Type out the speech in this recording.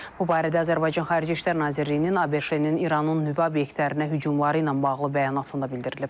Bu barədə Azərbaycan Xarici İşlər Nazirliyinin ABŞ-nin İranın nüvə obyektlərinə hücumları ilə bağlı bəyanatında bildirilib.